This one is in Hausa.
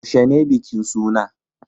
Yaushe ne bikin suna?